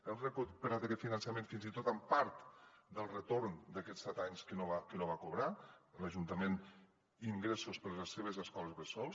hem recuperat aquest finançament fins i tot amb part del retorn d’aquests set anys que no va cobrar l’ajuntament d’ingressos per a les seves escoles bressol